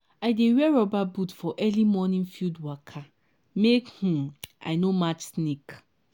i dey wear rubber boot for early morning field waka make um i no match snake.